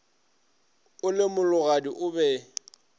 o le mologadi o be